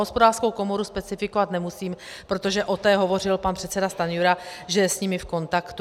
Hospodářskou komoru specifikovat nemusím, protože o té hovořil pan předseda Stanjura, že je s nimi v kontaktu.